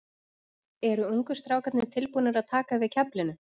Eru ungu strákarnir tilbúnir að taka við keflinu?